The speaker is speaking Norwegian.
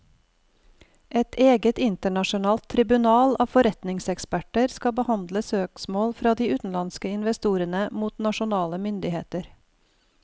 Et eget internasjonalt tribunal av forretningseksperter skal behandle søksmål fra de utenlandske investorene mot nasjonale myndigheter.